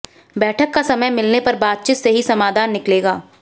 बैठक का समय मिलने पर बातचीत से ही समाधान निकलेगा